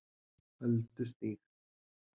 Öldustíg